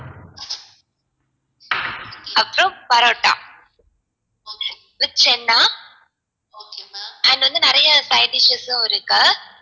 அப்பறோம் parotta with chenna and வந்து நிறையா side dishes உம் இருக்கு